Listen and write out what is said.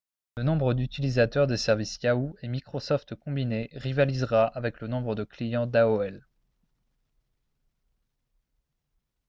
le nombre d'utilisateurs des services yahoo et microsoft combinés rivalisera avec le nombre de clients d'aol